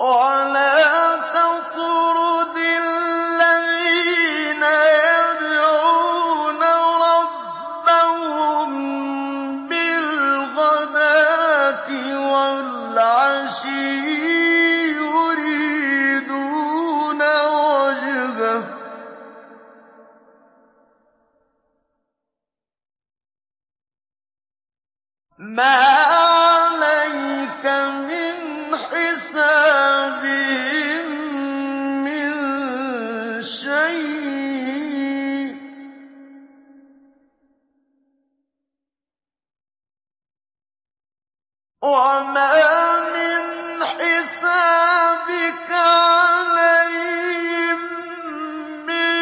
وَلَا تَطْرُدِ الَّذِينَ يَدْعُونَ رَبَّهُم بِالْغَدَاةِ وَالْعَشِيِّ يُرِيدُونَ وَجْهَهُ ۖ مَا عَلَيْكَ مِنْ حِسَابِهِم مِّن شَيْءٍ وَمَا مِنْ حِسَابِكَ عَلَيْهِم مِّن